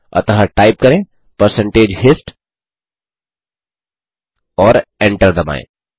अतः टाइप करें percentage hist और एंटर दबाएँ